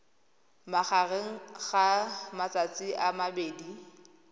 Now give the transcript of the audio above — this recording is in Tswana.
magareng ga matsatsi a mabedi